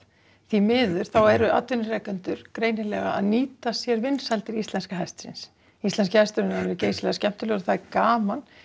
því miður þá eru atvinnurekendur greinilega að nýta sér vinsældir íslenska hestsins íslenski hesturinn er alveg geysilega skemmtilegur það er gaman